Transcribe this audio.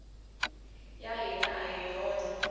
ya hina a hi wona